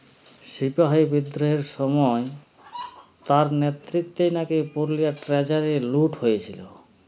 সিপাহী বিদ্রোহের সময় তার নেতৃত্বে নাকি পুরুলিয়ার treasure -এ লুট হয়েছিল।